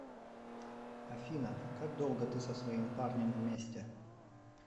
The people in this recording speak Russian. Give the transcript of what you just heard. афина как долго ты со своим парнем вместе